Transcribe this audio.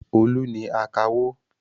Olú ni akawó.